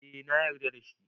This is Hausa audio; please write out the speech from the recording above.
Eh na yarda da shi